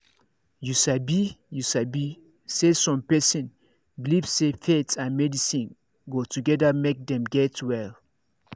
you sabi you sabi saysome person believe say faith and medicine go together make dem get well.